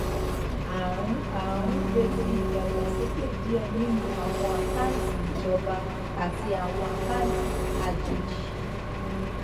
a ń a ń retí ìdàgbàsókè díẹ nínú àwọn àkáǹtì ìjọba àti àwọn àkáǹtì àjèjì